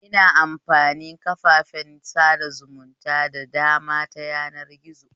Ina amfani kafafen sada zumunta da dama ta yanar gizo